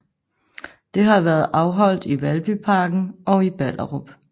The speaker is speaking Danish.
Det har været afholdt i Valbyparken og i Ballerup